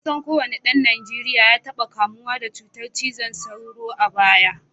Kusan kowane dan Najeriya ya taba kamuwa da cutar zazzabin cizon sauro a baya